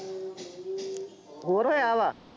ਹੋਰ ਹੋਇਆ ਵਾ,